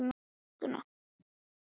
Ég læt sem það sé epli á hvirfli hans.